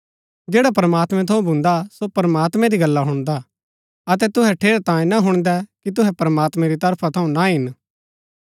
जैडा प्रमात्मैं थऊँ भून्दा सो प्रमात्मैं री गल्ला हुणदा अतै तूहै ठेरैतांये ना हुणदै कि तूहै प्रमात्मैं री तरफा थऊँ ना हिन